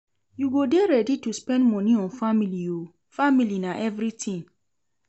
You go dey ready to spend moni on family o, family na everytin.